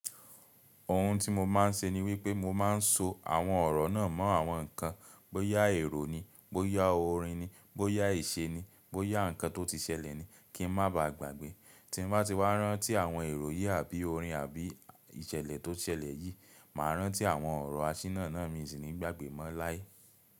Òhun tí mo máa ń ṣe ni wípé mo máa ń so àwọn ọ̀rọ̀ náà mọ́ àwọn ǹkan, bóyá èrò ni, bóyá orin ni, bóyá ìṣe ni, bóyá nǹkan tó ti ṣẹlẹ̀ ni kí n má ba à gbàgbé. Tí mo bá ti wá rántí àwọn èrò yìí àbí orin àbí ìṣẹ̀lẹ̀ tó ṣẹlẹ̀ yìí, màá rántí àwọn ọ̀rọ̀ àṣírí náà ní ìsìn ni gbàgbé mọ́ láí.